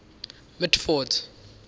mitford's